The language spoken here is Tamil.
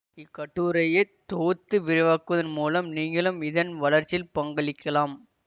இக்கட்டுரையை தொகுத்து விரிவாக்குவதன் மூலம் நீங்களும் இதன் வளர்ச்சியில் பங்களிக்கலாம்